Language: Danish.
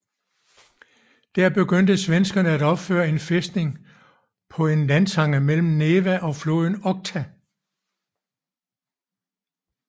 Der begyndte svenskerne at opføre en fæstning på en landtange mellem Neva og floden Okhta